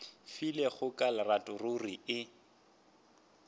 filego ka lerato ruri e